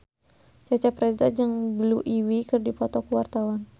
Cecep Reza jeung Blue Ivy keur dipoto ku wartawan